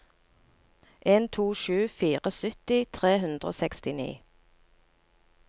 en to sju fire sytti tre hundre og sekstini